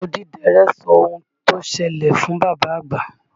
Odídẹrẹ́ sọ ohun tó ṣẹlẹ̀ fún bàbá àgbà.